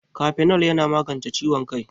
Kafenol yana magance ciwon kai